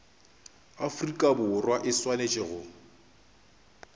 afrika borwa e swanetše go